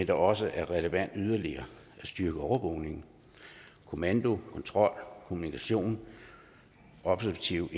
det også er relevant yderligere at styrke overvågning kommando kontrol kommunikation operative